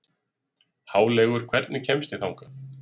Háleygur, hvernig kemst ég þangað?